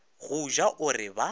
go ja o re ba